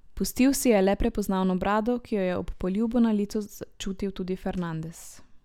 Pustil si je le prepoznavno brado, ki jo je ob poljubu na licu čutil tudi Fernandes.